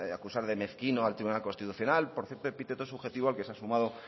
acusar de mezquino al tribunal constitucional por cierto epíteto subjetivo al que se ha sumado